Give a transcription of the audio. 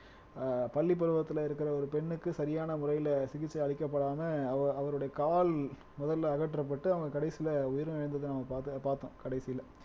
ஆஹ் பள்ளிப் பருவத்திலே இருக்கிற ஒரு பெண்ணுக்கு சரியான முறையிலே சிகிச்சை அளிக்கப்படாம அவ அவருடைய கால் முதல்ல அகற்றப்பட்டு அவங்க கடைசியிலே உயிரிழந்ததை நம்ம பார்த்தோம் பார்த்தோம் கடைசியிலே